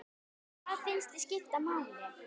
Hvað finnst þér skipta máli?